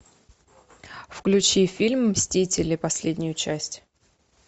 включи фильм мстители последнюю часть